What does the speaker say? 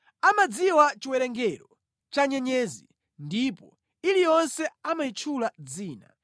Amadziwa chiwerengero cha nyenyezi, ndipo iliyonse amayitchula dzina.